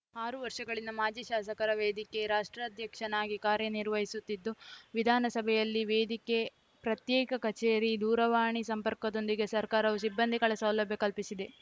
ಆರು ವರ್ಷಗಳಿಂದ ಮಾಜಿ ಶಾಸಕರ ವೇದಿಕೆ ರಾಜ್ಯಾಧ್ಯಕ್ಷನಾಗಿ ಕಾರ್ಯನಿರ್ವಹಿಸುತ್ತಿದ್ದು ವಿಧಾನಸಭೆಯಲ್ಲಿ ವೇದಿಕೆ ಪ್ರತ್ಯೇಕ ಕಚೇರಿ ದೂರವಾಣಿ ಸಂಪರ್ಕದೊಂದಿಗೆ ಸರ್ಕಾರವು ಸಿಬ್ಬಂದಿಗಳ ಸೌಲಭ್ಯ ಕಲ್ಪಿಸಿದೆ